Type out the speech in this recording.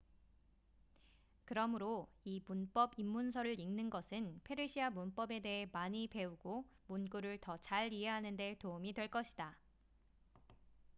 그러므로 이 문법 입문서를 읽는 것은 페르시아 문법에 대해 많이 배우고 문구를 더 잘 이해하는 데 도움이 될 것이다